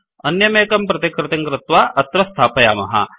अन्यमेकं प्रतिकृतिं कृत्वा अत्र स्थापयामः